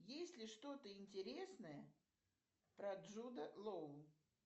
есть ли что то интересное про джуда лоу